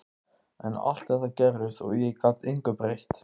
En allt þetta gerðist og ég gat engu breytt.